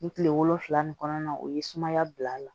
Ni kile wolonfila ni kɔnɔna na o ye sumaya bil'a la